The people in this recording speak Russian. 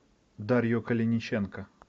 дарью калиниченко